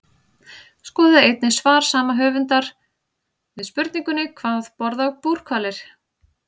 Skoðið einnig svar sama höfundur við spurningunni Hvað borða búrhvalir?